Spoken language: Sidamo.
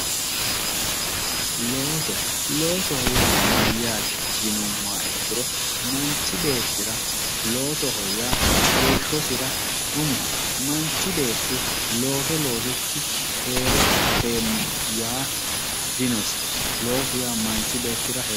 Looso, looso yaa mayate yinuummoha ikkiro manchi beettira loosoho yaa heeshshosira umoho manchi beetti looso loosikkinni heere afeemmo yaa dinosi ,loosu yaa manchi beettira heeshshote.